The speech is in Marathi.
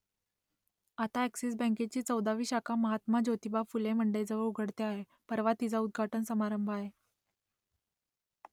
आता अ‍ॅक्सिस बँकेची चौदावी शाखा महात्मा ज्योतिबा फुले मंडईजवळ उघडते आहे , परवा तिचा उद्घाटन समारंभ आहे